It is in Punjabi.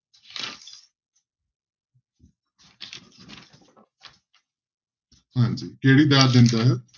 ਹਾਂਜੀ ਕਿਹੜੀ ਦਾਤ ਦਿੰਦਾ ਹੈ?